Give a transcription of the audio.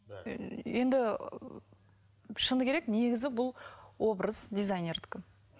енді шыны керек негізі бұл образ дизайнердікі